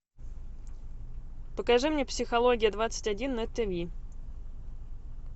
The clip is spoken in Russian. покажи мне психология двадцать один на тв